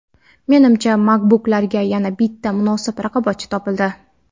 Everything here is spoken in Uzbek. Menimcha MacBooklarga yana bitta munosib raqobatchi topildi.